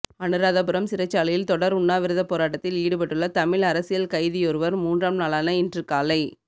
அனுராதபுரம் சிறைச்சாலையில் தொடர் உண்ணாவிரதப் போராட்டத்தில் ஈடுபட்டுள்ள தமிழ் அரசியல் கைதியொருவர் மூன்றாம் நாளான இன்று காலை